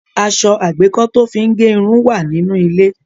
Aṣọ àgbékọ́ tó fí ń gẹ irun wà nínú ilé.